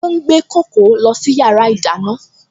Ó ń gbé kókò lọ sí yàrá ìdáná